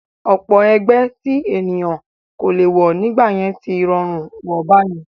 Ọ̀pọ̀ ẹgbẹ́ tí ènìyàn kò lè wọ̀ nígbà yẹn tí rọrùn wọ̀ báyìí